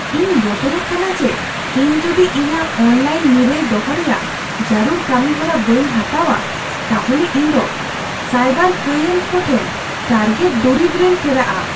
ᱤᱧ ᱵᱚᱛᱚᱨᱚᱜ ᱠᱟᱱᱟ ᱡᱮ ᱤᱧ ᱡᱩᱫᱤ ᱤᱧᱟᱜ ᱚᱱᱞᱟᱭᱤᱱ ᱱᱤᱨᱟᱹᱭ ᱫᱚᱦᱚ ᱨᱮᱭᱟᱜ ᱡᱟᱹᱨᱩᱲ ᱠᱟᱹᱢᱤ ᱦᱚᱨᱟ ᱵᱟᱹᱧ ᱦᱟᱛᱟᱣᱟ, ᱛᱟᱦᱚᱞᱮ ᱤᱧ ᱫᱚ ᱥᱟᱭᱵᱟᱨ ᱠᱟᱹᱭᱟᱱ ᱠᱚ ᱴᱷᱮᱱ ᱴᱟᱨᱜᱮᱴ ᱫᱩᱨᱤᱵ ᱨᱮᱧ ᱯᱷᱮᱨᱟᱜᱼᱟ ᱾